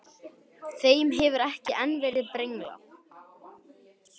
Þeim hefur ekki enn verið brenglað.